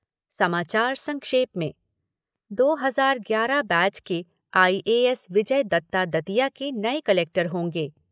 समाचार सक्षेप में दो हज़ार ग्यारह बैच के आईएएस विजय दत्ता दतिया के नए कलेक्टर होंगे।